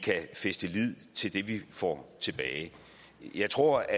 kan fæste lid til det vi får tilbage jeg tror